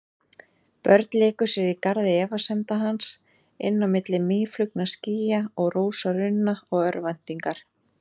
Börn léku sér í garði efasemda hans, inn á milli mýflugnaskýja og rósarunna og örvæntingar.